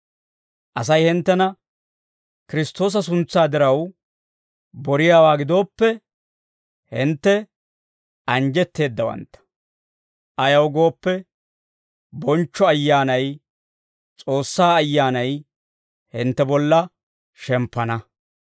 Asay hinttena Kiristtoosa suntsaa diraw boriyaawaa gidooppe, hintte anjjetteeddawantta; ayaw gooppe, bonchcho Ayyaanay, S'oossaa Ayyaanay, hintte bolla shemppana.